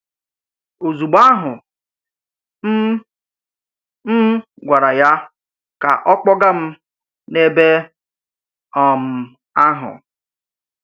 Òzugbo àhụ́, m̀ m̀ gwárà yá ka ọ kpọ́gà m n’èbé um àhụ́.